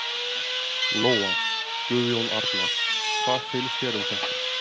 Lóa: Guðjón Arnar, hvað finnst þér um þetta?